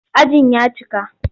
Ajin ya cika.